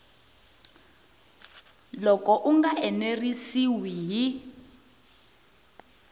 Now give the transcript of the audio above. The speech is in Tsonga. loko u nga enerisiwi hi